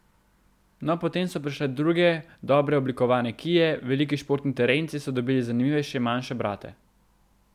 No, potem so prišle druge dobro oblikovane kie, veliki športni terenci so dobili zanimivejše manjše brate.